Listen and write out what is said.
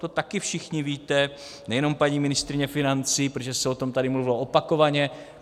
To taky všichni víte, nejenom paní ministryně financí, protože se o tom tady mluvilo opakovaně.